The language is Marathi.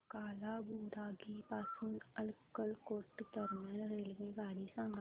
कालाबुरागी पासून अक्कलकोट दरम्यान रेल्वेगाडी सांगा